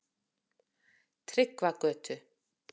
Tryggvagötu